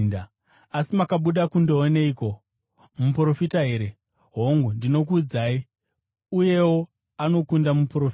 Asi makabuda kundooneiko? Muprofita here? Hongu, ndinokuudzai, uyewo anokunda muprofita.